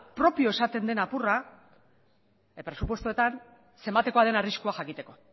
propio esaten den apurra presupuestoetan zenbatekoa den arriskua jakiteko